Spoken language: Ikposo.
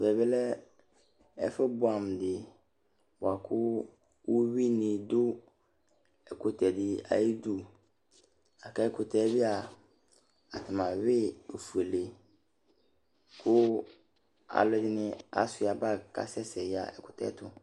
Ɛʋɛ bi lɛ ɛfu buamu dɩ buaku uwuini du ɛkutɛdi ayidu l'ak'ɛkutɛ bia atani awui ofuele ku alu ɛdini asua bar k'asɛsɛ yaɣa ɛkutɛ tʊ